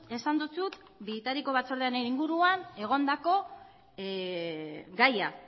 esan dizut bitariko batzordearen inguruan egondako gaia